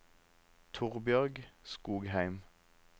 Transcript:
Torbjørg Skogheim